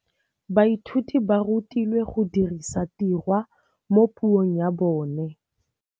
Baithuti ba rutilwe go dirisa tirwa mo puong ya bone.